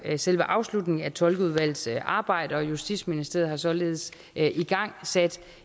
selve afslutningen af tolkeudvalgets arbejde og justitsministeriet har således igangsat